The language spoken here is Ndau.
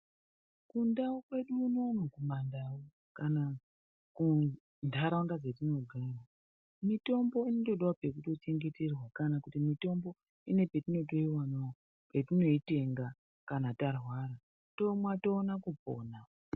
Mundau yedu kuno kana kunharaunda yatinogara mitombo inotodawo pekuchengeterwa kana kuti mitombo inepetinoyiwanawo patinoitenga kana tarwara tonwa towana kupona